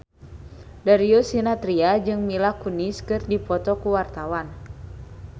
Darius Sinathrya jeung Mila Kunis keur dipoto ku wartawan